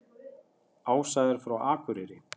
Ása er frá Akureyri.